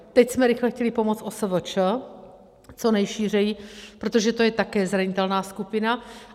Teď jsme rychle chtěli pomoct OSVČ co nejšířeji, protože to je také zranitelná skupina.